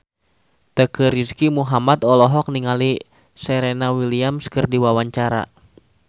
Teuku Rizky Muhammad olohok ningali Serena Williams keur diwawancara